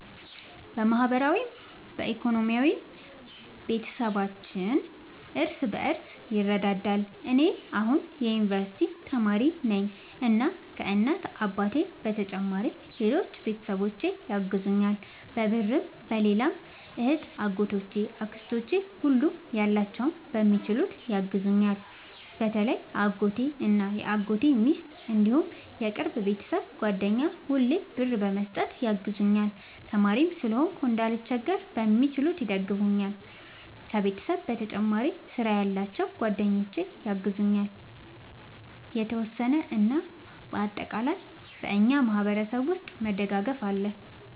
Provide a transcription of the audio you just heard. በማህበራዊም በኢኮኖሚም ቤተሰባችን እርስ በርስ ይረዳዳል። እኔ አሁን የዩንቨርስቲ ተማሪ ነኝ እና ከ እናት አባቴ በተጨማሪ ሌሎች ቤተሰቦቼ ያግዙኛል በብርም በሌላም እህቴ አጎቶቼ አክስቶቼ ሁሉም ያላቸውን በሚችሉት ያግዙኛል። በተለይ አጎቴ እና የአጎቴ ሚስት እንዲሁም የቅርብ የቤተሰብ ጓደኛ ሁሌ ብር በመስጠት ያግዙኛል። ተማሪም ስለሆንኩ እንዳልቸገር በሚችሉት ይደግፈኛል። ከቤተሰብ በተጨማሪ ስራ ያላቸው ጓደኞቼ ያግዙኛል የተወሰነ። እና በአጠቃላይ በእኛ ማህበረሰብ ውስጥ መደጋገፍ አለ